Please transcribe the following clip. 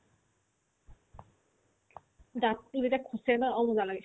দাঁততো যেতিয়া খোছে ন আৰু মজা লাগে